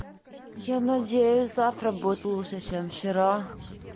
я надеюсь завтра будет лучше чем вчера